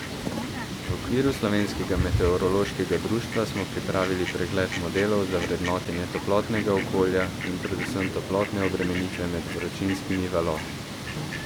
V okviru Slovenskega meteorološkega društva smo pripravili pregled modelov za vrednotenje toplotnega okolja in predvsem toplotne obremenitve med vročinskimi valovi.